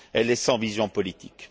elle est sans vision politique.